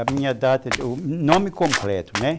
A minha data, o nome completo, né?